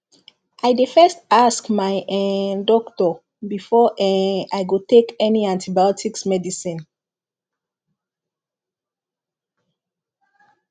i dey first ask my um doctor before um i go take any antibiotics medicine